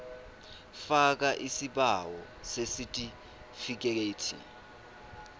faka isibawo sesitifikethi